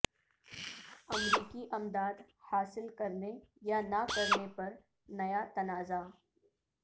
امریکی امداد حاصل کرنے یا نہ کرنے پر نیا تنازع